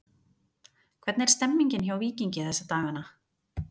Hvernig er stemmningin hjá Víkingi þessa dagana?